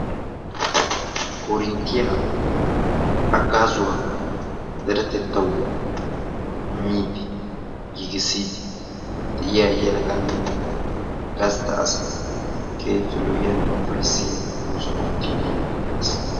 Korinttiya haggaazuwa deretettawu immiiddi giigissiiddi de7iya yelaganne gastta asay keehippe lo'iyaanne ufayissiya oosuwa oottiiddi diyoogee beettes.